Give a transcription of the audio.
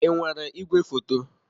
Ị nwere igwefoto?